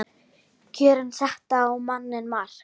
Kjörin settu á manninn mark